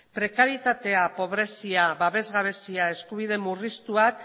prekarietatea pobrezia babes gabezia eskubide murriztuak